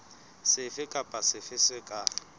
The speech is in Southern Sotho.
sefe kapa sefe se ka